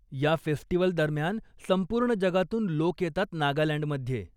या फेस्टिवलदरम्यान संपूर्ण जगातून लोक येतात नागालँडमध्ये.